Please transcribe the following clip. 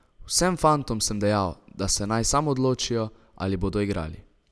Vsem fantom sem dejal, da se naj sam odločijo, ali bodo igrali.